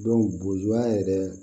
bozoya yɛrɛ